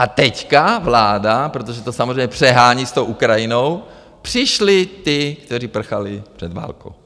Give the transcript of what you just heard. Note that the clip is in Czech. A teď vláda, protože to samozřejmě přehání s tou Ukrajinou, přišli ti, kteří prchali před válkou.